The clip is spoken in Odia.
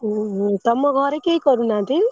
ଉଁ ହୁଁ ତମ ଘରେ କେହି କରୁନାହାନ୍ତି?